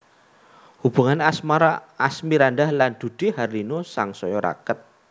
Hubungan asmara Asmirandah lan Dude Harlino sangsaya raket